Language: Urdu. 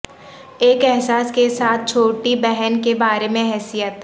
ایک احساس کے ساتھ چھوٹی بہن کے بارے میں حیثیت